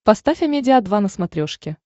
поставь амедиа два на смотрешке